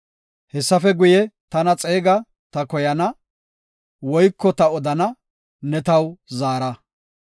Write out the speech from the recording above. Hessafe guye, tana xeega; ta koyana; Woyko ta odana, ne taw zaara.